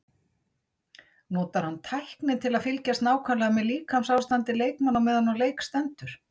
Notar hann tækni til að fylgjast nákvæmlega með líkamsástandi leikmanna á meðan leik stendur?